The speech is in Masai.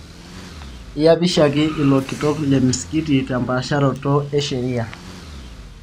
Eyapishaki ilo kitok le msikiti tempaasharoto e sheria